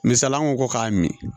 Misala an ko ko k'a min